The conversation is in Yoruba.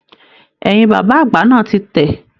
Ẹ̀yìn bàbá àgbà náà tí tẹ.